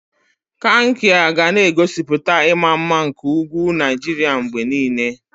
Kankia ga na-egosipụta ịma mma nke ugwu Naijiria mgbe niile.